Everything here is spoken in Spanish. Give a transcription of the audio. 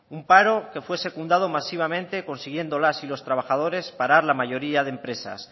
un paro que fue secundado masivamente consiguiendo las y los trabajadores parar la mayoría de empresas